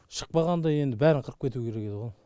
шықпағанда енді бәрін қырып кетуі керек едіғо